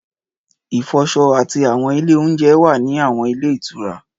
Ìfọṣọ àti àwọn ilé oúnjẹ wà ní àwọn ilé ìtura